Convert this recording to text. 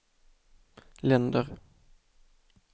länder